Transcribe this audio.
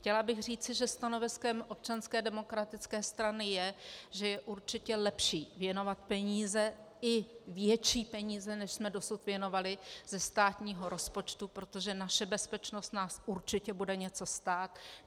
Chtěla bych říci, že stanoviskem Občanské demokratické strany je, že je určitě lepší věnovat peníze, i větší peníze, než jsme dosud věnovali, ze státního rozpočtu, protože naše bezpečnost nás určitě bude něco stát.